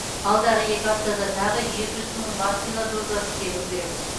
алдағы екі аптада тағы екі жүз мың вакцина дозасы келуі керек